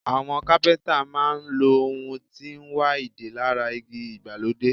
Àwọn Kápẹ́ńtà máa ń lo ohun tí ń wa ìdè lára igi ìgbàlódé.